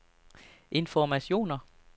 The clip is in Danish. informationer